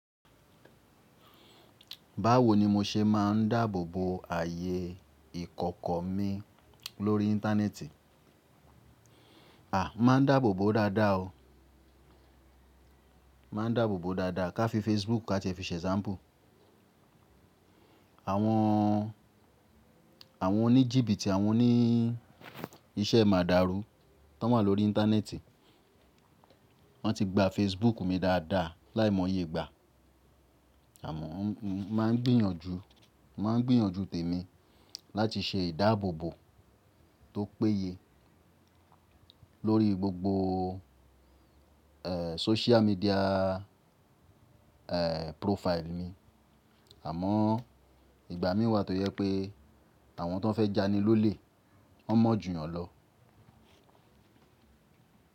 Báwo ni mo ṣe máà ń dáàbòbò ààyè ìkọ̀kọ̀ mi lórí íńtánẹ́ẹ̀tì? Máa ń dáàbòbò dáadáa o. Máa ń dáàbòbò dáadáa. Ka fi Facebook ka tí fi ṣe ṣámúpù. Àwọn, àwọn oníjìbí ti àwọn oní iṣẹ́ màdàrú tan wa ń lọ́rí íńtánẹ́ẹ̀tì wọn ti gba Facebook mi dáadáa láìmọye gba. Àmọ mo máa ń gbìyànjú, máa ń gbìyànjú tèmi láti ṣe ìdáàbòbò tó péye lórí gbogbo ẹ sósíà míḍíà ẹ púròfáìlì mi. Àmọ ìgbà mí wà tó jẹ pé àwọn tan fẹ́ ja ni lólè, wọ́n mọ̀ jù yàn lọ.